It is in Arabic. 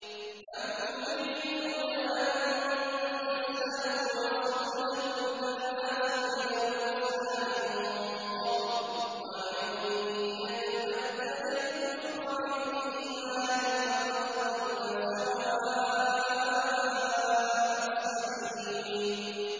أَمْ تُرِيدُونَ أَن تَسْأَلُوا رَسُولَكُمْ كَمَا سُئِلَ مُوسَىٰ مِن قَبْلُ ۗ وَمَن يَتَبَدَّلِ الْكُفْرَ بِالْإِيمَانِ فَقَدْ ضَلَّ سَوَاءَ السَّبِيلِ